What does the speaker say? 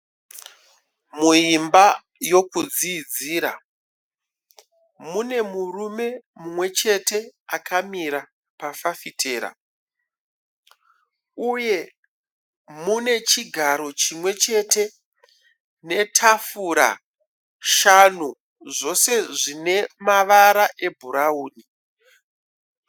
Muimba yekudzidzira mune murume mumwe chete akamira pafafitera. Uye mune chigaro chimwe chete netafura shanu zvese zvine mavara ebhurauni.